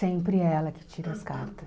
Sempre é ela que tira as cartas.